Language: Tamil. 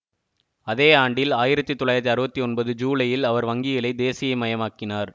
அதே ஆண்டில் ஆயிரத்தி தொள்ளாயிரத்தி அறுபத்தி ஒன்பது ஜூலையில் அவர் வங்கிகளை தேசியமயமாக்கினார்